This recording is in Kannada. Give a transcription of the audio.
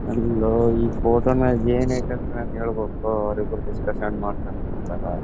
ಒಂದು ಈ ಫೋಟೋ ಮ್ಯಾಗೆ ಏನ್ಐತಿ ಅಂತ ಹೇಳಬಹುದು ಅವ್ರ ಇಬ್ಬ್ರು ಡಿಸ್ಕಶನ್ ಮಾಡಕೊನ್ ಕುಂತರೆ .